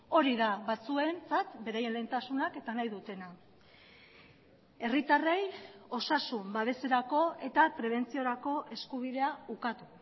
hori da batzuentzat beraien lehentasunak eta nahi dutena herritarrei osasun babeserako eta prebentziorako eskubidea ukatu